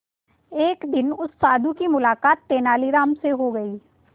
एक दिन उस साधु की मुलाकात तेनालीराम से हो गई